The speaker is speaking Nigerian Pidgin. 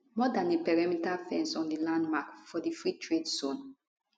more dan a perimeter fence on di land mark for di free trade zone